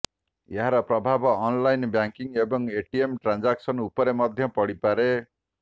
ଏହାର ପ୍ରଭାବ online banking ଏବଂ ଏଟିଏମ୍ ଟ୍ରାନ୍ଜାକ୍ସନ୍ ଉପରେ ମଧ୍ୟ ପଡିପାରେ